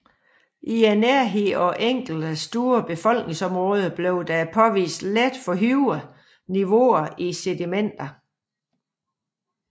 I nærheden af enkelte store befolkningsområder blev der påvist let forhøjede niveauer i sedimenter